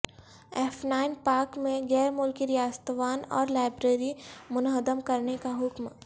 F nine park میں غیر ملکی ریستوان اور لائبریری منہدم کرنے کا حکم